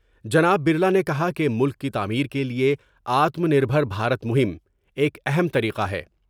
جناب برلا نے کہا کہ ملک کی تعمیر کے لئے Aatmanirbhar Bharat مہم ایک اہم طریقہ ہے ۔